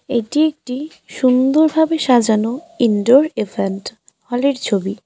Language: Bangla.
এটি একটি সুন্দরভাবে সাজানো ইনডোর ইভেন্ট হল -এর ছবি।